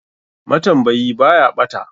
Matambayi baya ɓata.